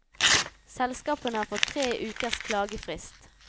Selskapene har fått tre ukers klagefrist.